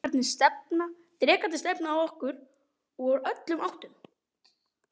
Drekarnir stefna að okkur úr öllum áttum.